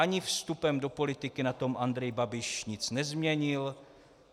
Ani vstupem do politiky na tom Andrej Babiš nic nezměnil.